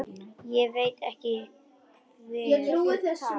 Ég veit hvað þú ert.